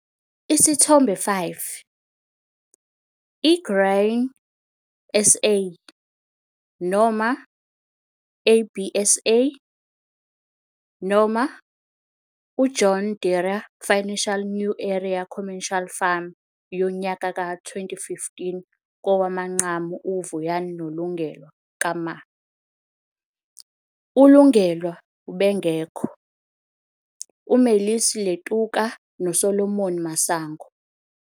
Isithombe 5- I-Grain SA noma ABSA noma John Deere Financial New Era Commercial Farmer yonyaka ka-2015 kowamanqamu U-Vuyani no-Lungelwa Kama, uLungelwa ubengekho, uMaseli Letuka noSolomon Masango.